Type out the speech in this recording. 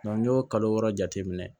n'i y'o kalo wɔɔrɔ jateminɛ